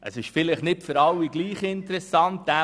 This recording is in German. Es ist vielleicht nicht für alle gleich interessant.